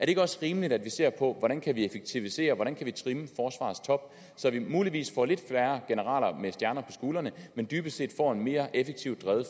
ikke også rimeligt at vi ser på hvordan vi kan effektivisere hvordan vi kan trimme forsvarets top så vi muligvis får lidt færre generaler med stjerner på skuldrene men dybest set får et mere effektivt drevet